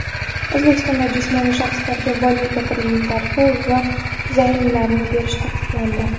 O‘zbekistonda jismoniy shaxslarga valyuta kreditlari va zaymlari berish taqiqlandi .